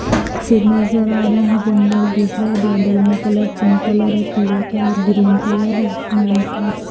नजर आ रहे हैं जंगल दिख रहे हैं बादल में कलर पिंक कलर है पीला कलर ग्रीन कलर है आसमानी कलर --